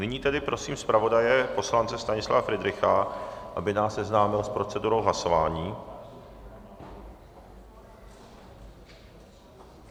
Nyní tedy prosím zpravodaje poslance Stanislava Fridricha, aby nás seznámil s procedurou hlasování.